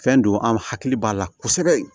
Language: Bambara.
Fɛn don an hakili b'a la kosɛbɛ